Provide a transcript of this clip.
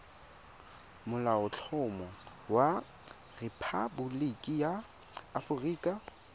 molaotlhomo wa rephaboliki ya aforika